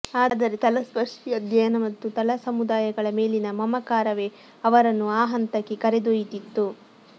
ಆದರೆ ತಲಸ್ಪರ್ಶಿ ಅಧ್ಯಯನ ಮತ್ತು ತಳಸಮುದಾಯಗಳ ಮೇಲಿನ ಮಮಕಾರವೇ ಅವರನ್ನು ಆ ಹಂತಕ್ಕೆ ಕರೆದೊಯ್ದಿತ್ತು